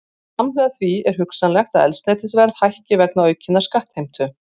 Samhliða því er hugsanlegt að eldsneytisverð hækki vegna aukinnar skattheimtu.